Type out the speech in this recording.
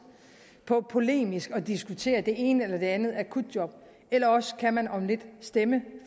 på polemisk at diskutere det ene eller andet akutjob eller også kan man om lidt stemme